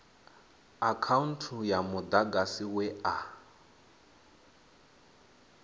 akhaunthu ya mudagasi we a